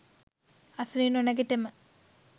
අසුනින් නොනැගිටම